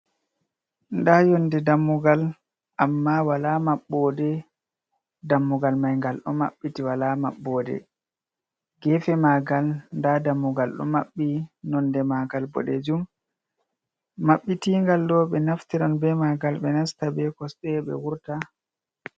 Nda yonde dammugal amma wala maɓɓode, dammugal maingal ɗo maɓɓiti wala maɓɓode, gefe mangal nda dammugal ɗo maɓɓi nonde ma ngal boɗejum, maɓɓitigal ɗo ɓe naftiran be ma ngal ɓe nasta be kosɗe ɓe wurta.